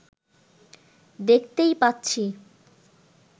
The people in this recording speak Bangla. দেখতেই পাচ্ছি